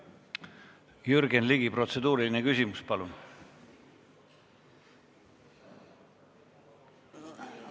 Jürgen Ligi, protseduuriline küsimus, palun!